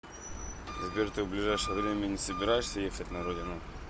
сбер ты в ближайшее время не собираешься ехать на родину